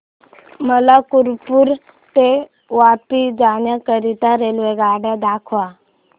मला कालुपुर ते वापी जाण्या करीता रेल्वेगाड्या दाखवा